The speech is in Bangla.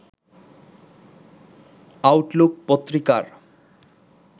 আউটলুক পত্রিকার